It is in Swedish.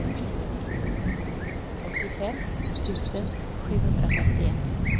åttiofem tusen sjuhundrafemtioett